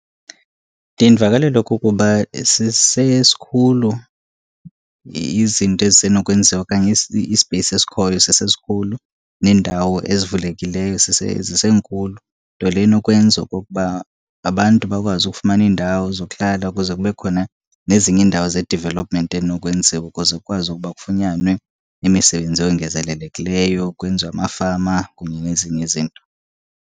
Ndiye ndivakalelwe kukuba sisesikhulu izinto ezisenokwenziwa okanye ispeyisi esikhoyo sisesikhulu neendawo ezivulekileyo zisenkulu. Nto leyo inokwenza okokuba abantu bakwazi ukufumana iindawo zokuhlala ukuze kube khona nezinye iindawo ze-development enokwenziwa ukuze kukwazi ukuba kufunyanwe imisebenzi eyongezelelekileyo, kwenziwe amafama kunye nezinye izinto.